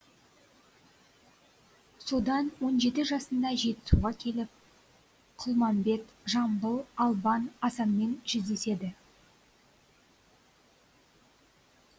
содан он жеті жасында жетісуға келіп құлмамбет жамбыл албан асанмен жүздеседі